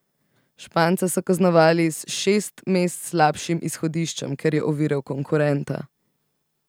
Španca so kaznovali s šest mest slabšim izhodiščem, ker je oviral konkurenta.